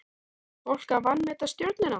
Var fólk að vanmeta Stjörnuna?